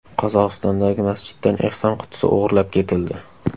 Qozog‘istondagi masjiddan ehson qutisi o‘g‘irlab ketildi.